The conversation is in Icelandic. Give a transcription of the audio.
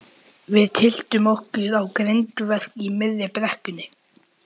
Við tylltum okkur á grindverk í miðri brekkunni.